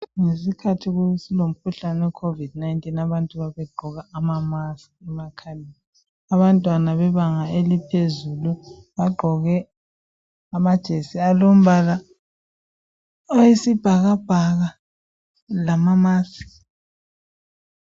Ngesikhathi silomkhuhlane we covid 19 abantu babegqoka ama mask emakhaleni abantwana bebanga eliphezulu bagqoke amajesi alombala oyisibhakabhaka lama mask.